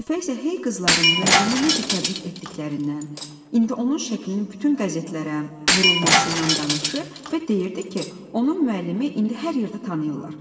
Lətifə isə hey qızlarım müəllimi necə təbrik etdiklərindən, indi onun şəklinin bütün qəzetlərə vurulmasından danışır və deyirdi ki, onun müəllimi indi hər yerdə tanıyırlar.